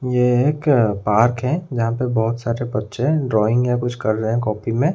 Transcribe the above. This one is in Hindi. ये एक पार्क है जहां पर बहोत सारे बच्चे डाईंग या कुछ कर रहे है कॉपी में--